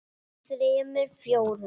þremur. fjórum.